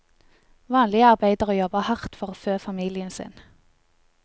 Vanlige arbeidere jobber hardt for å fø familien sin.